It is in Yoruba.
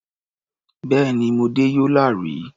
Bẹ́ẹ̀ni, mo dé Yola rí.